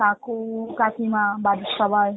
কাকু, কাকিমা, বাড়ির সবাই?